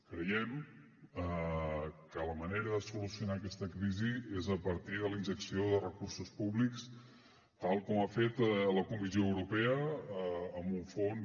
creiem que la manera de solucionar aquesta crisi és a partir de la injecció de recursos públics tal com ha fet la comissió europea amb un fons